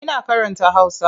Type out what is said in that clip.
Ina karanta Hausa.